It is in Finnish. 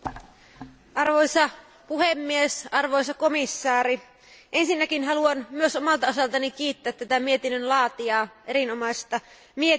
Arvoisa puhemies, arvoisa komissaari, ensinnäkin haluan myös omalta osaltani kiittää mietinnön laatijaa erinomaisesta mietinnöstä.